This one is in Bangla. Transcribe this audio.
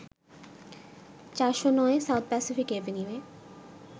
৪০৯ সাউথ প্যাসিফিক অ্যাভিনিউয়ে